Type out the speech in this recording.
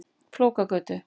Flókagötu